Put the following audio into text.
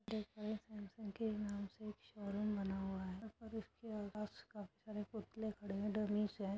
यहाँ पर समसग के नाम से एक शोरूम बना हुआ है और उसके आस पास काफी सारे पुतले खड़े हैं डमीस हैं --